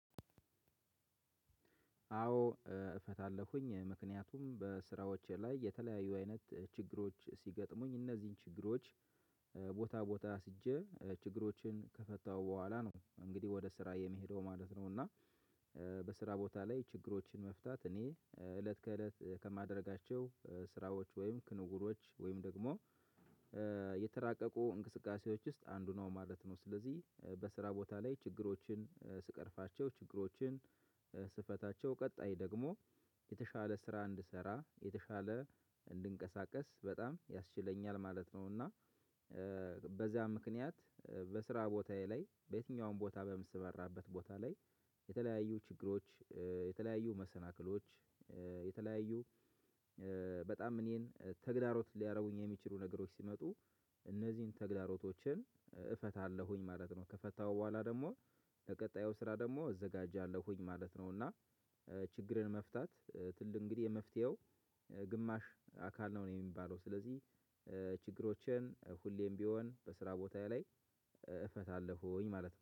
አዎ እፈታለሁኝ ምክንያቱም በስራዎቼ ላይ የተለያዩ አይነት ችግሮች ሲገጥሙኝ እነዚህን ችግሮች ቦታ ቦታ አስጄ ችግሮችን ከፈታው በኋላ ነው እንግዲህ ወደ ስራ የምሄደው ማለት ነው። እና በስራ ቦታ ላይ ችግሮችን መፍታት እኔ እለት ከእለት ከማደርጋቸው ስራወች ወይም ክንዉኖች ወይም ደግሞ የተራቀቁ እንቅስቃሴዎች ውስጥ አንዱ ነው ማለት ነው። ስለዚህ በስራ ቦታ ላይ ችግሮችን ስቀርፋቸው ችግሮችን ስፈታቸው ቀጣይ ደግሞ የተሻለ ስራ እንድሰራ የተሻለ እንድንቀሳቀስ በጣም ያስችለኛል ማለት ነው። እና በዚያ ምክንያት በስራ ቦታዬ ላይ በየትኛውም ቦታ በምሰማራበት ቦታ ላይ የተለያዩ ችግሮች የተለያዩ መሰናክሎች የተለያዩ በጣም እኔን ተግዳሮት ሊያደርጉኝ የሚችሉ ነገሮች ሲመጡ እነዚህን ተግዳሮቶችን እፈታለሁኝ ማለት ነው። ከፈታሁ በኋላ ደግሞ ለቀጣዩ ስራ ደግሞ እዘጋጃለሁኝ ማለት ነው። እና ችግርን መፍታት ትልቅ እንግዲህ የመፍትሄው ግማሽ አካል ነው ነው የሚባለው። ስለዚህ ችግሮችን ሁሌም ቢሆን በስራ ቦታዬ ላይ እፈታለሁኝ ማለት ነው